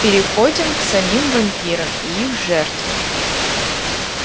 переходим к самим вампирам и их жертве